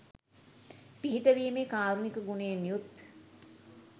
පිහිට වීමේ කාරුණික ගුණයෙන් යුත්